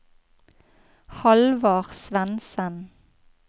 Halvard Svensen